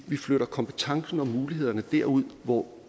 vi flytter kompetencen og mulighederne derud hvor